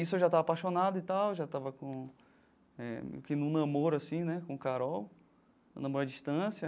Isso eu já estava apaixonado e tal, já estava com eh num namoro assim né com Carol, um namoro à distância.